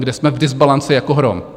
Kde jsme v dysbalanci jako hrom?